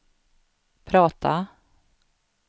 prata